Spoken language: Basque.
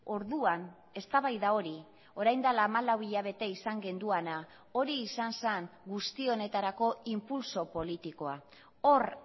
orduan eztabaida hori orain dela hamalau hilabete izan genuena hori izan zen guzti honetarako inpultso politikoa hor